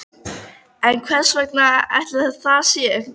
En hvers vegna ætli það sé?